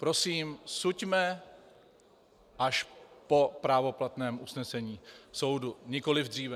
Prosím, suďme až po právoplatném usnesení soudu, nikoliv dříve.